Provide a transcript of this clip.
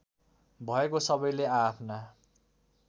भएको सबैले आआफ्ना